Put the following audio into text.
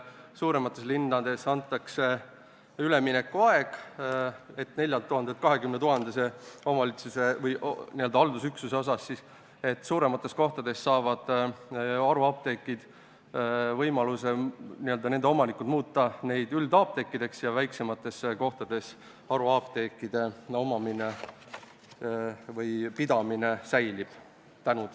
Suuremates linnades antakse haruapteekidele üleminekuaeg, haruapteekide omanikud saavad 4000 elaniku asemel üle 20 000 elanikuga omavalitsuses või haldusüksuses, st suuremates kohtades, võimaluse muuta haruapteeke üldapteekideks ja väiksemates kohtades haruapteekide pidamise võimalus säilib.